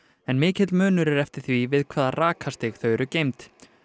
en mikill munur er eftir því við hvaða rakastig þau eru geymd